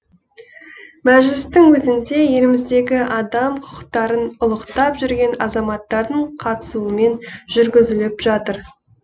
мәжілістің өзінде еліміздегі адам құқықтарын ұлықтап жүрген азаматтардың қатысуымен жүргізіліп жатыр